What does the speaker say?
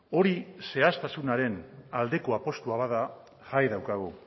hori zehaztasunaren aldeko apustua bada jai daukagu